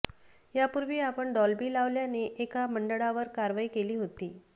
यापूर्वी आपण डॉल्बी लावल्याने एका मंडळावर कारवाई केली होती